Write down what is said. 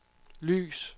lys